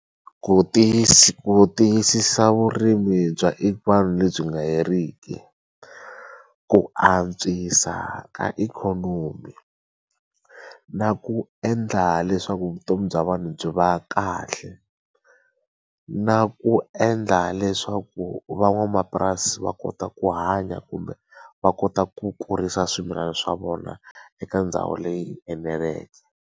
Ku ku tiyisisa vurimi bya vanhu lebyi nga heriki ku antswisa ka ikhonomi na ku endla leswaku vutomi bya vanhu byi va kahle na ku endla leswaku van'wamapurasi va kota ku hanya kumbe va kota ku kurisa swimilana swa vona eka ndhawu leyi eneleke.